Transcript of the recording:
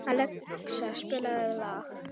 Alexía, spilaðu lag.